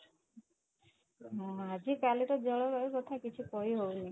ଅଂ ଆଜି କାଲିର ଜଳବାୟୁ କଥା କିଛି କହିହଉନି